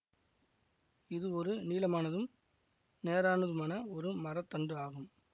இது ஒரு நீளமானதும் நேரானதுமான ஒரு மர தண்டு ஆகும்